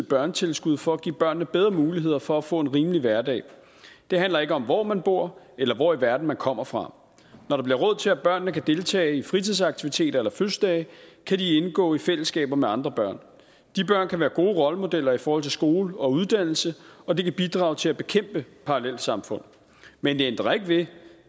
børnetilskud for at give børnene bedre muligheder for at få en rimelig hverdag det handler ikke om hvor man bor eller hvor i verden man kommer fra når der bliver råd til at børnene kan deltage i fritidsaktiviteter eller fødselsdage kan de indgå i fællesskaber med andre børn de børn kan være gode rollemodeller i forhold til skole og uddannelse og de kan bidrage til at bekæmpe parallelsamfund men det ændrer ikke ved